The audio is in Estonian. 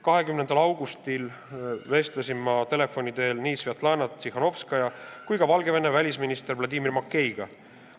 20. augustil vestlesin ma telefoni teel nii Svetlana Tihhanovskaja kui ka Valgevene välisministri Vladimir Makeiga.